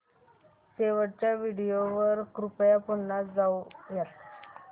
शेवटच्या व्हिडिओ वर कृपया पुन्हा जाऊयात